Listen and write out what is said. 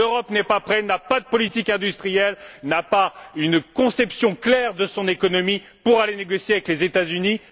L'Europe n'est pas prête. Elle n'a pas de politique industrielle, elle n'a pas une conception suffisamment claire de son économie pour aller négocier avec les États Unis.